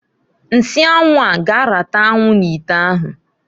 Nsị anwụ a g'arata anwụ n'ite ahụ